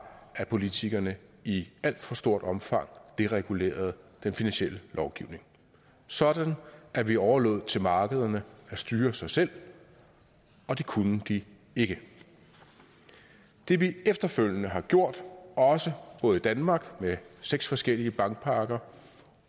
at politikerne i alt for stort omfang deregulerede den finansielle lovgivning sådan at vi overlod det til markederne at styre sig selv og det kunne de ikke det vi efterfølgende har gjort både i danmark med seks forskellige bankpakker